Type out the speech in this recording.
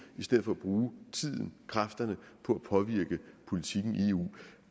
i stedet for at bruge tiden og kræfterne på at påvirke politikken i eu